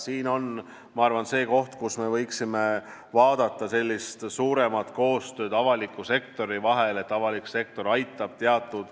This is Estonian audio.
Siin on, ma arvan, see koht, kus me avalikus sektoris võiksime vaadata suurema koostöö poole.